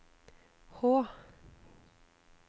H